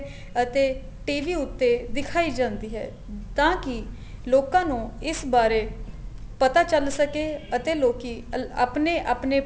ਅਤੇ TV ਉੱਤੇ ਦਿਖਾਈ ਜਾਂਦੀ ਹੈ ਤਾਂ ਕੀ ਲੋਕਾ ਨੂੰ ਇਸ ਬਾਰੇ ਪਤਾ ਚੱਲ ਸਕੇ ਅਤੇ ਲੋਕੀ ਆਪਣੇ ਆਪਣੇ